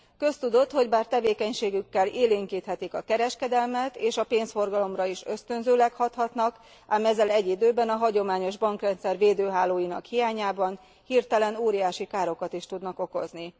Köztudott, hogy bár tevékenységükkel élénkíthetik a kereskedelmet, és a pénzforgalomra is ösztönzőleg hathatnak, ám ezzel egy időben a hagyományos bankrendszer védőhálóinak hiányában hirtelen óriási károkat is tudnak okozni.